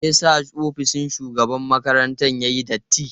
Me yasa ofishin shugaban makarantar yayi datti?